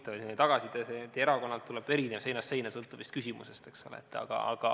See on huvitav, et tagasiside ühest erakonnast tuleb erinev, seinast seina, sõltuvalt küsimusest.